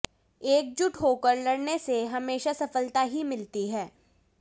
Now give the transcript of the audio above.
एकजुट होकर लड़ने से हमेशा सफलता ही मिलती है